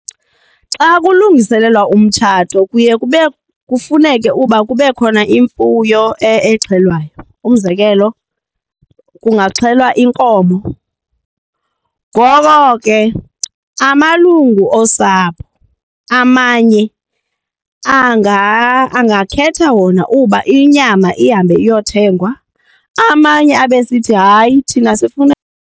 Xa kulungiselelwa umtshato kuye kufuneke uba kube khona imfuyo exhelwayo. Umzekelo, kungaxhelwa inkomo. Ngoko ke amalungu osapho amanye angakhetha wona uba inyama ihambe iyothengwa amanye abe esithi hayi thina sifuna.